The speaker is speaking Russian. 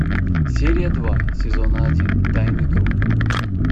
серия два сезона один тайный круг